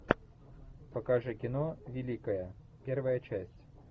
покажи кино великая первая часть